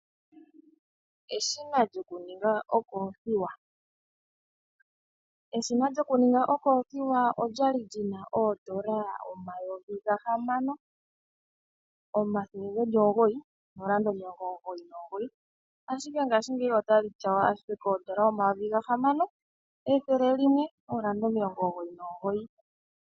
Eshina lyoku ninga okothiwa, eshina lyoku nibga okothiwa okwali lina N$ 6,999, ashike paife ngeyi otaki tyawa ashike N$6, 199.